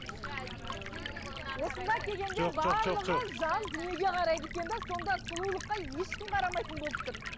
осында келгенде барлығы жан дүниеге қарайды екен де сонда сұлулыққа ешкім қарамайтын болып тұр